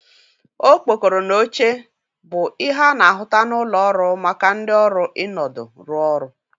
Okpokoro na oche bụ ihe a na-ahụta n'ụlọ ọrụ maka ndị ọrụ ịnọdụ rụ ọrụ